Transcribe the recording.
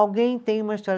Alguém tem uma história